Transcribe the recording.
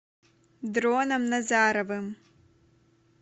дроном назаровым